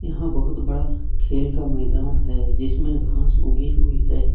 यहां बहुत बड़ा खेल का मैदान है जिसमें घास उगी हुई है।